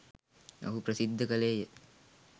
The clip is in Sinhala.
ඔහු ප්‍රසිද්ධ කළේය.